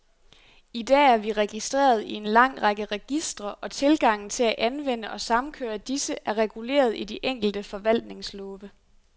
I dag er vi registreret i en lang række registre, og tilgangen til at anvende og samkøre disse, er reguleret i de enkelte forvaltningslove.